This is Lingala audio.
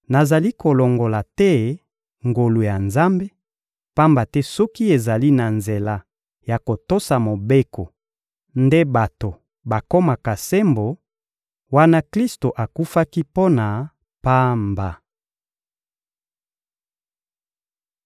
Nazali kolongola te ngolu ya Nzambe, pamba te soki ezali na nzela ya kotosa Mobeko nde bato bakomaka sembo, wana Klisto akufaki mpo na pamba.»